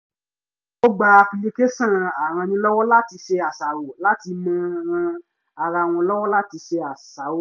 ó gba apilicáṣọ̀n arannílọ́wọ́-láti-ṣe-àṣàrò láti máa ràn án lọ́wọ́ láti ṣe àṣàrò